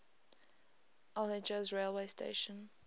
al hejaz railway station